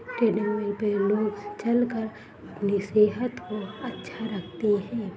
Treadmill पे लोग चल कर अपनी सेहत को अच्छा रखते है।